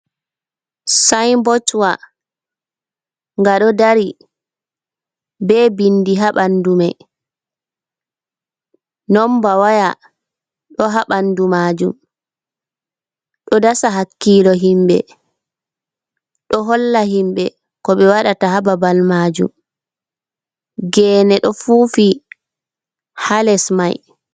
sayinbodwa: Nga ɗo dari be bindi ha ɓandu mai. Nomba waya ɗo ha ɓandu majum. Ɗo dasa hakkilo himɓe, ɗo holla himɓe ko ɓe waɗata ha babal majum. Gene ɗo fufi ha les mai.